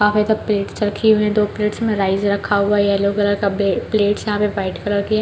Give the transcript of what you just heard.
काफी ज़्यादा प्लेट्स रखी हुई है दो प्लेट्स में राइस रखा हुआ है येलो कलर का प्लेट्स यहाँ पे वाइट कलर के --